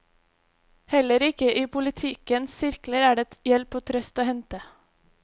Heller ikke i politikkens sirkler er det hjelp og trøst å hente.